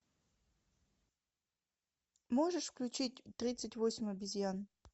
можешь включить тридцать восемь обезьян